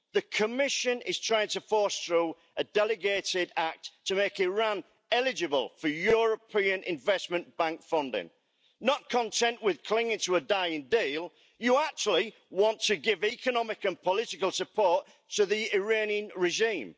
The Commission is trying to force through a delegated act to make Iran eligible for European Investment Bank funding. Not content with clinging to a dying deal, you actually want to give economic and political support to the Iranian regime.